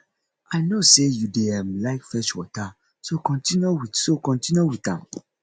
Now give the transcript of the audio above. i no say you dey um like fetch water so continue with so continue with am